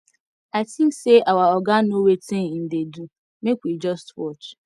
i think say our oga no wetin im dey do make we just watch